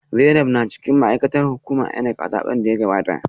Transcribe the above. Zainab na cikin ma’aikatan hukumar INEC a zaben da ya gabata